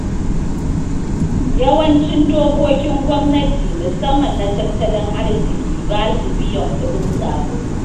Yawancin dokkokin gwamnati, musamman na tattalin arziki, ba su biyan kuɗin sabulu.